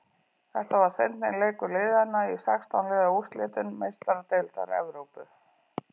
Þetta var seinni leikur liðana í sextán liða úrslitum Meistaradeildar Evrópu.